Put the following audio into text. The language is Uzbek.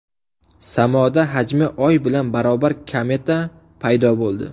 Samoda hajmi oy bilan barobar kometa paydo bo‘ldi.